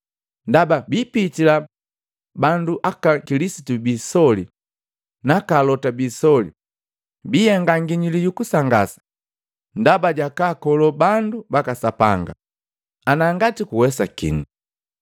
Ndaba bipitila bandu aka Kilisitu biisoli naka alota biisoli, bihenga nginyuli yu kusangasa, ndaba jakaakolo bandu baka Sapanga ana ngati kuwesakini.